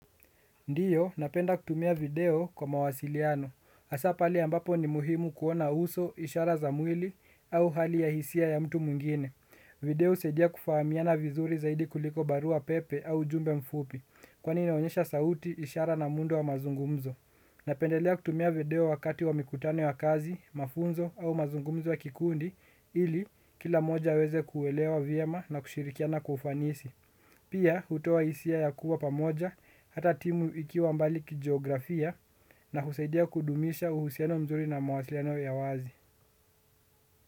Ndiyo, napenda kutumia video kwa mawasiliano. Hasa pale ambapo ni muhimu kuona uso, ishara za mwili au hali ya hisia ya mtu mwingine. Video husadia kufahamiana vizuri zaidi kuliko barua pepe au ujumbe mfupi, kwani inaonyesha sauti, ishara na muundo wa mazungumzo. Napendelea kutumia video wakati wa mikutano wa kazi, mafunzo au mazungumzo wa kikundi, ili kila moja aweze kuelewa vyema na kushirikiana kwa ufanisi. Pia, hutoa hisia ya kuwa pamoja, hata timu ikiwa mbali ki geografia na husaidia kudumisha uhusiano mzuri na mwasiliano ya wazi.